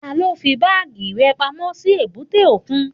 Taló fí báàgì rẹ̀ pamọ́ sí èbúté òkun?